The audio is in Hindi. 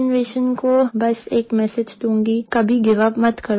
यंग जनरेशन को बस एक मेसेज दूंगी कभी गिव यूपी मत करो